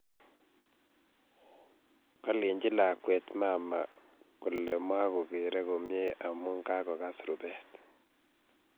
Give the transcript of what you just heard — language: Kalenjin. Kolenji lakwet mama kole magogere komnyei amu kakogas rubet